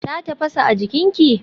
Ta tafasa a jikinta.